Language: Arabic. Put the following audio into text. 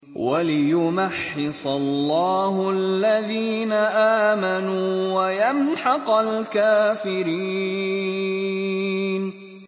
وَلِيُمَحِّصَ اللَّهُ الَّذِينَ آمَنُوا وَيَمْحَقَ الْكَافِرِينَ